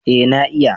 Eh na iya